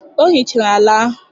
Ọ hichara ala ahụ.